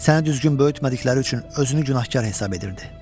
Səni düzgün böyütmədikləri üçün özünü günahkar hesab edirdi.